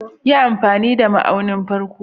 Yi amfani da ma'aunin farko.